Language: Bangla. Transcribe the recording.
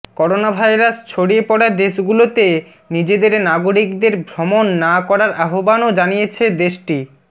করোনাভাইরাস ছড়িয়ে পড়া দেশগুলোতে নিজেদের নাগরিকদের ভ্রমণ না করার আহ্বানও জানিয়েছে দেশটি